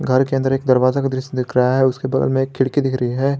के अंदर एक दरवाजा का दृश्य दिख रहा है उसके बगल में एक खिड़की दिख रही है।